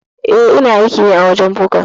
Eh ina aiki ne a wajen buga.